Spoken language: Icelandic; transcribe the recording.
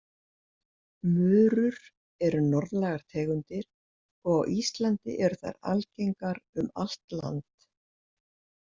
Murur eru norðlægar tegundir og á Íslandi eru þær algengar um allt land.